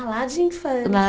Ah, lá de infância.